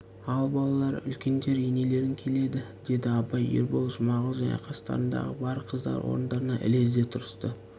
ал балалар үлкендер енелерің келеді деді абай ербол жұмағұл және қастарындағы бар қыздар орындарынан ілезде тұрысты